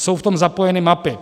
Jsou v tom zapojeny mapy.